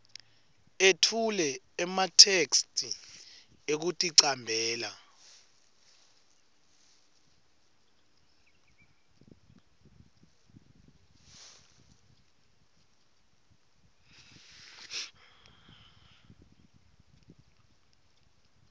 etfule ematheksthi ekuticambela